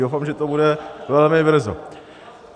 Doufám, že to bude velmi brzo.